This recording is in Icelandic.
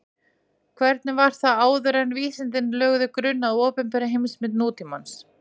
Hvernig var það þá áður en vísindin lögðu grunn að opinberri heimsmynd nútímans?